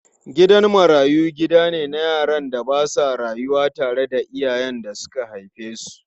Gidan marayu gida ne na yaran da ba sa rayuwa tare da iyayen da suka haife su.